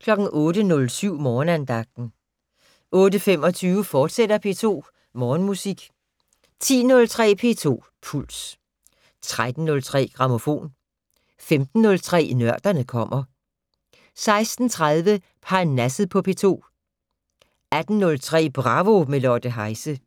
08:07: Morgenandagten 08:25: P2 Morgenmusik, fortsat 10:03: P2 Puls 13:03: Grammofon 15:03: Nørderne kommer 16:30: Parnasset på P2 18:03: Bravo - med Lotte Heise